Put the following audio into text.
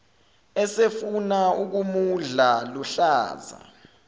esefuna ukumudla luhlaza